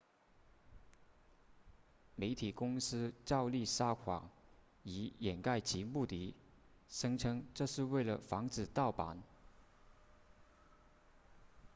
媒体公司照例撒谎以掩盖其目的声称这是为了防止盗版